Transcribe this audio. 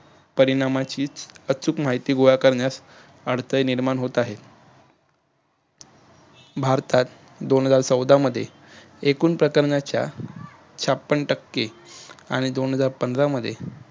परिणामाचीच अचूक माहिती गोळा करण्यास अडथळे निर्माण होत आहेत. भारतात दोन हजार चौदा मध्ये एकूण प्रकरणाच्या छपन्न टक्के आणि दोन हजार पंधरा मध्ये